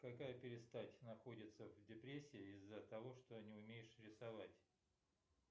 какая перестать находится в депрессии из за того что не умеешь рисовать